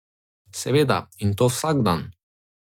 Seveda, in to vsak dan.